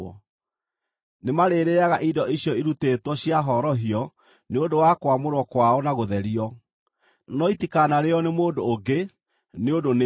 Nĩmarĩrĩĩaga indo icio irutĩtwo cia horohio nĩ ũndũ wa kwamũrwo kwao na gũtherio. No itikanarĩĩo nĩ mũndũ ũngĩ, nĩ ũndũ nĩ theru.